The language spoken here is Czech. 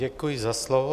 Děkuji za slovo.